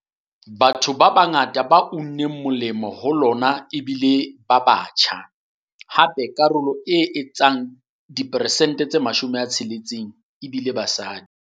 Bongata ba batho ba unneng molemo ho lona e bile batho ba batjha, hape karolo e etsang diperesente tse 60 e bile basadi.